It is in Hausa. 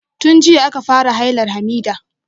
Tun jiya aka fara hailar Hamidah.